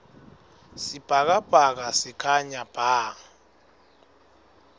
sibhakabhaka sikhanya bha